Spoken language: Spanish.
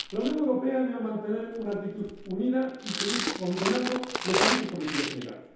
La Unión Europea debe mantener una actitud unida y seguir condenando los abusos cometidos en Irán.